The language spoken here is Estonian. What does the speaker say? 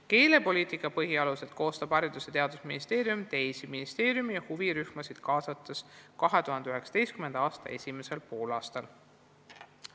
Keelepoliitika põhialused koostab Haridus- ja Teadusministeerium teisi ministeeriume ja huvirühmasid kaasates 2019. aasta esimesel poolaastal.